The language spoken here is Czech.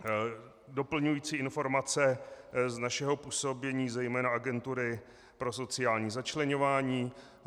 Doplňující informace z našeho působení, zejména Agentury pro sociální začleňování.